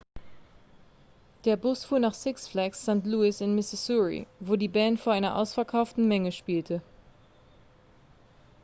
der bus fuhr nach six flags st. louis in missouri wo die band vor einer ausverkauften menge spielte